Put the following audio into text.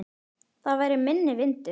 Þar væri minni vindur.